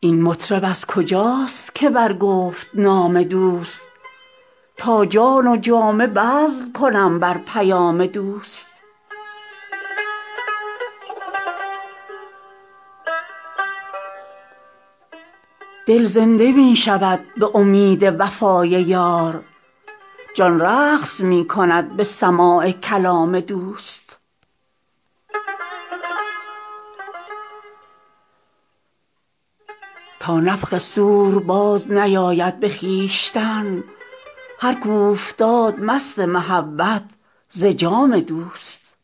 این مطرب از کجاست که برگفت نام دوست تا جان و جامه بذل کنم بر پیام دوست دل زنده می شود به امید وفای یار جان رقص می کند به سماع کلام دوست تا نفخ صور بازنیاید به خویشتن هر کاو فتاد مست محبت ز جام دوست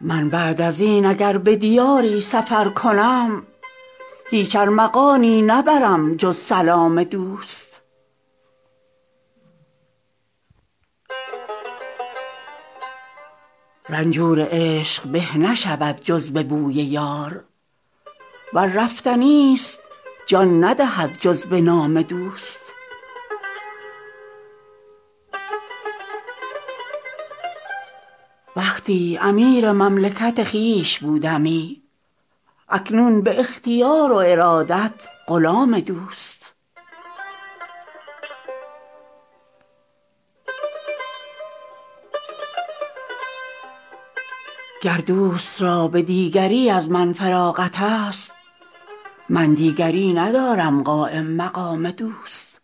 من بعد از این اگر به دیاری سفر کنم هیچ ارمغانیی نبرم جز سلام دوست رنجور عشق به نشود جز به بوی یار ور رفتنی ست جان ندهد جز به نام دوست وقتی امیر مملکت خویش بودمی اکنون به اختیار و ارادت غلام دوست گر دوست را به دیگری از من فراغت ست من دیگری ندارم قایم مقام دوست بالای بام دوست چو نتوان نهاد پای هم چاره آن که سر بنهی زیر بام دوست درویش را که نام برد پیش پادشاه هیهات از افتقار من و احتشام دوست گر کام دوست کشتن سعدی ست باک نیست اینم حیات بس که بمیرم به کام دوست